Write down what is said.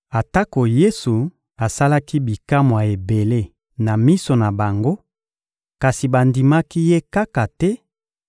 Atako Yesu asalaki bikamwa ebele na miso na bango, kasi bandimaki Ye kaka te